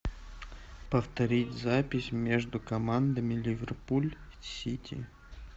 повторить запись между командами ливерпуль сити